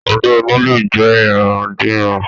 Ọgbẹ́ inú lè jẹ irandiran